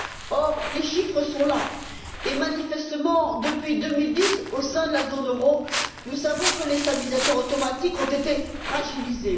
Or, les chiffres sont là et manifestement, depuis 2010, au sein de la zone euro, comme nous le savons, les stabilisateurs automatiques ont été fragilisés.